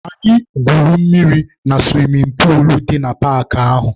Anyị gwuru mmiri na suwimin puulu dị na paakị ahụ.